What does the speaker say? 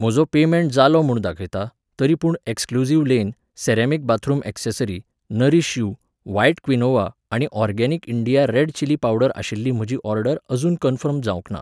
म्हजो पेमेंट जालो म्हूण दाखयता, तरी पूण exclusive lane, ceramic bathroom accessory, nourish you, white quinoa आनी organic India red chilli powder आशिल्ली म्हजी ऑर्डर अजून कन्फर्म जावंक ना